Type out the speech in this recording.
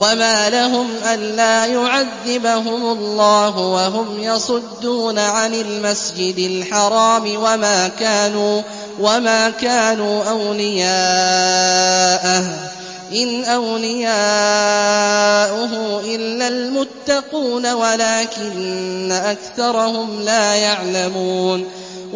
وَمَا لَهُمْ أَلَّا يُعَذِّبَهُمُ اللَّهُ وَهُمْ يَصُدُّونَ عَنِ الْمَسْجِدِ الْحَرَامِ وَمَا كَانُوا أَوْلِيَاءَهُ ۚ إِنْ أَوْلِيَاؤُهُ إِلَّا الْمُتَّقُونَ وَلَٰكِنَّ أَكْثَرَهُمْ لَا يَعْلَمُونَ